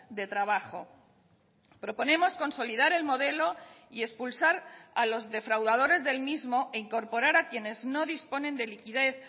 de trabajo proponemos consolidar el modelo y expulsar a los defraudadores del mismo e incorporar a quienes no disponen de liquidez